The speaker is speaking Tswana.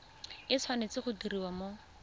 e tshwanetse go diriwa mo